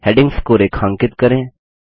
headings को रेखांकित करें